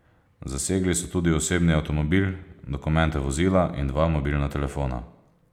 Zasegli so tudi osebni avtomobil, dokumente vozila in dva mobilna telefona.